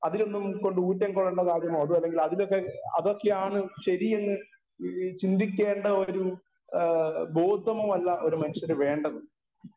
speaker 1 അതിലൊന്നും ഉൾക്കൊണ്ട് ഊറ്റംകൊള്ളേണ്ട കാര്യമോ അതിലൊക്കെ അതൊക്കെയാണ് ശരിയെന്ന് ഈ ചിന്തിക്കേണ്ട ഒരു ആ ബോധമോ അല്ല ഒരു മനുഷ്യന് വേണ്ടത്